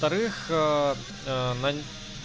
вторых